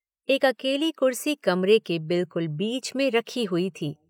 एक अकेली कुर्सी कमरे के बिल्कुल बीच में रखी हुई थी।